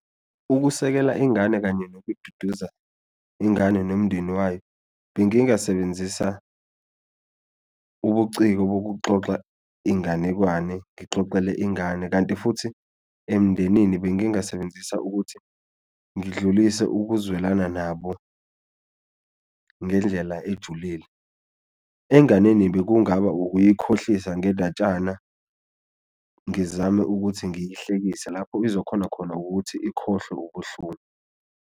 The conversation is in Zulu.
Ukusekela ingane kanye nokududuza ingane nomndeni wayo bengingasebenzisa ubuciko bokuxoxa inganekwane ngixoxele ingane, kanti futhi emndenini bengingasebenzisa ukuthi ngidlulise ukuzwelana nabo ngendlela ejulile. Enganeni bekungaba ukuyikhohlisa ngendatshana ngizame ukuthi ngiyihlekise lapho izokhona khona ukuthi ikhohlwe ubuhlungu.